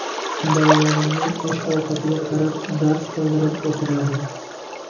Bolalarimning osh-ovqatiga qarab, dars qildirib o‘tiradi.